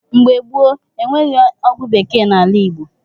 Mgbe gboo, enweghị ọgwụ bekee n’ala Igbo.